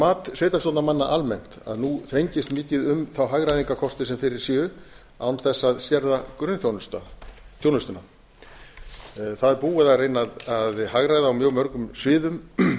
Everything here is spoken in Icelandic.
saman það er mat sveitarstjórnarmanna almennt að nú þrengist mikið um þá hagræðingarkosti sem fyrir séu án þess að skerða grunnþjónustuna það er búið að reyna að hagræða á mjög mörgum sviðum